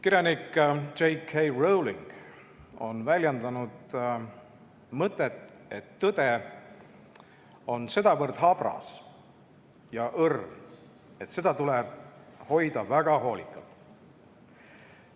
Kirjanik J. K. Rowling on väljendanud mõtet, et tõde on sedavõrd habras ja õrn, et seda tuleb hoida väga hoolikalt.